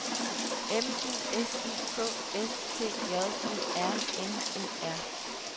M U S I K S T J E R N E R